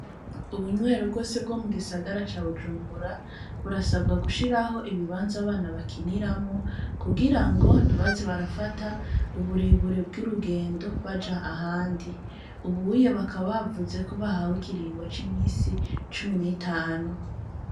Ubunywero bwose bwo mu gisagara ca Bujumbura, burasabwa gushiraho ibibanza abana bakiniramwo, kugira ngo ntibaze barafata uburebure bw'urugendo baja ahandi; ubuye bakaba bavuze ko bahawe ikiringo c'iminsi cumi n'itanu.